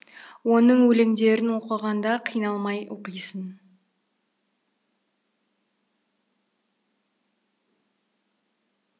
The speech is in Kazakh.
оның өлеңдерін оқығанда қиналмай оқисың